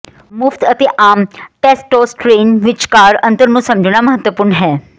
ਮੁਫ਼ਤ ਅਤੇ ਆਮ ਟੈਸਟੋਸਟਰੀਨ ਵਿਚਕਾਰ ਅੰਤਰ ਨੂੰ ਸਮਝਣਾ ਮਹੱਤਵਪੂਰਣ ਹੈ